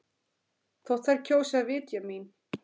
Þótt þær kjósi að vitja mín.